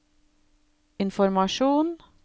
informasjon